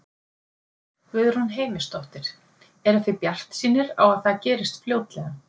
Guðrún Heimisdóttir: Eruð þið bjartsýnir á að það gerist fljótlega?